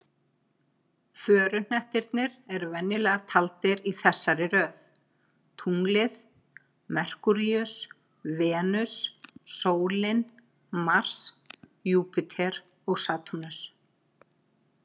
Föruhnettirnir eru venjulega taldir í þessari röð: Tunglið, Merkúríus, Venus, sólin, Mars, Júpíter og Satúrnus.